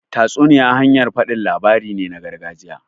Tatsuniya hanyar faɗin labarai ne na gargajiya.